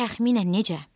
Təxminən necə?